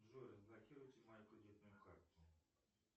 джой разблокируйте мою кредитную карту